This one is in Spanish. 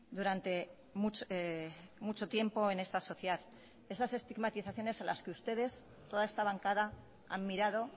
durante mucho tiempo en esta sociedad esas estigmatizaciones a las que ustedes toda esta bancada han mirado